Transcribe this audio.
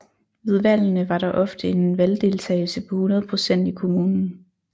Ved valgene var der ofte en valgdeltagelse på 100 procent i kommunen